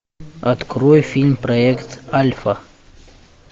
открой фильм проект альфа